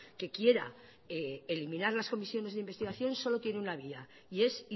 que quiera eliminar las comisiones de investigación solo tiene una vía y es